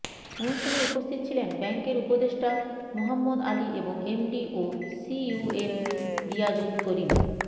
অনুষ্ঠানে উপস্থিত ছিলেন ব্যাংকের উপদেষ্টা মুহাম্মদ আলী এবং এমডি ও সিইও এম রিয়াজুল করিম